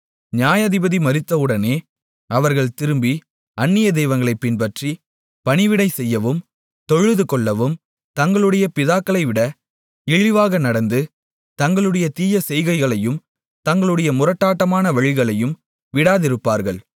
நியாயாதிபதி மரித்தவுடனே அவர்கள் திரும்பி அந்நிய தெய்வங்களைப் பின்பற்றி பணிவிடை செய்யவும் தொழுதுகொள்ளவும் தங்களுடைய பிதாக்களைவிட இழிவாக நடந்து தங்களுடைய தீய செய்கைகளையும் தங்களுடைய முரட்டாட்டமான வழிகளையும் விடாதிருப்பார்கள்